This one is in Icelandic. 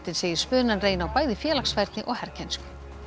segir spunann reyna á bæði félagsfærni og herkænsku